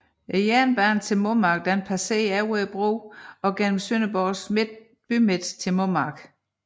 Jernbanen til Mommark passerede over broen og gennem Sønderborgs bymidte til Mommark